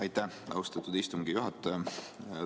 Aitäh, austatud istungi juhataja!